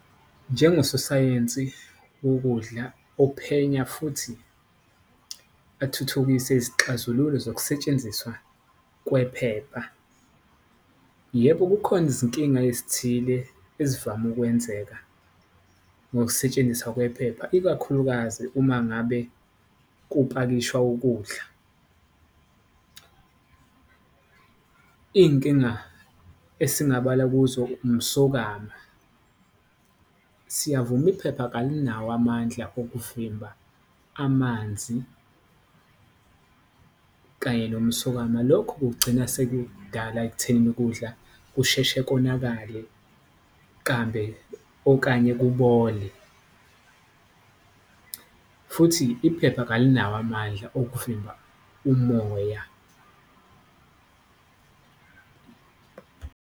Njengososayensi wokudla ophenya futhi athuthukise izixazululo zokusetshenziswa kwephepha, yebo kukhona izinkinga ezithile ezivame ukwenzeka ngokusetshenziswa kwephepha, ikakhulukazi uma ngabe kupakishwa ukudla. Iy'nkinga esingabala kuzo umsokama siyavuma iphepha kalinawo amandla okuvimba amanzi kanye nomsokama. Lokhu kugcina sekudala ekuthenini ukudla kusheshe konakale lambe, okanye kubole futhi iphepha kalinawo amandla okuvimba umoya.